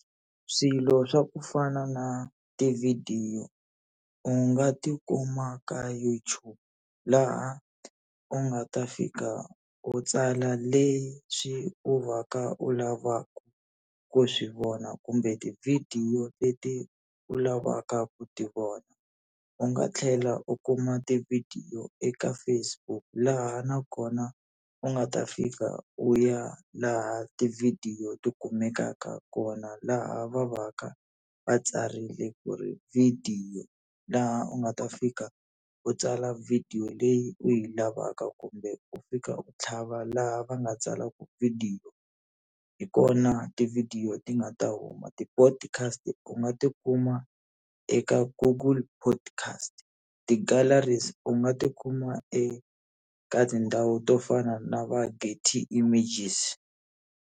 Swilo swa ku fana na tivhidiyo, u nga tikuma ka YouTube laha u nga ta fika u tsala leyi swi u va ka u lavaka ku swi vona kumbe tivhidiyo leti u lavaka ku ti vona. U nga tlhela u kuma tivhidiyo eka Facebook laha nakona u nga ta fika u ya laha tivhidiyo ti kumekaka kona laha va va ka va tsarile ku ri vhidiyo, laha u nga ta fika u tsala video leyi u yi lavaka kumbe ku fika u tlhava laha va nga tsala ku vhidiyo. Hi kona tivhidiyo ti nga ta huma. Ti-podcast u nga tikuma eka Google podcast, ti-galleries u nga tikuma eka tindhawu to fana na va images.